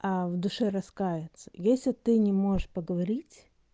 а в душе раскается если ты не можешь поговорить